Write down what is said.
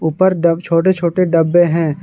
ऊपर डब छोटे छोटे डब्बे हैं।